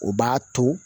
O b'a to